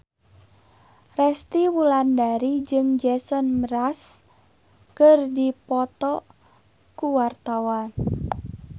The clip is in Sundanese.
Resty Wulandari jeung Jason Mraz keur dipoto ku wartawan